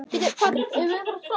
Konráð og Anna.